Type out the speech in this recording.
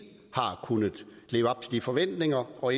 har kunnet leve op til de forventninger og